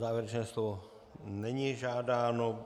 Závěrečné slovo není žádáno.